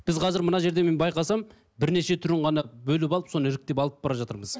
біз қазір мына жерде мен байқасам бірнеше түрін ғана бөліп алып соны іріктеп алып бара жатырмыз